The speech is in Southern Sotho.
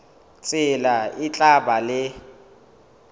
tsela e tla ba le